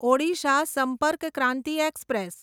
Odisha Sampark Kranti express